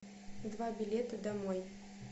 два билета домой